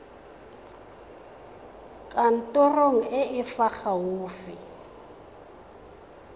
kantorong e e fa gaufi